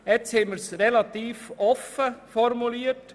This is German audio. Nun haben wir das Ganze recht offen formuliert: